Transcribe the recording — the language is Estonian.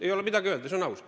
Ei ole midagi öelda.